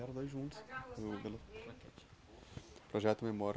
era nós junto no... Qual enquete? Projeto Memória.